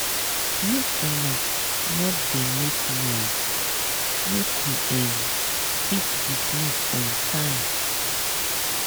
maka una no dey make noise make we um fit dismiss on time.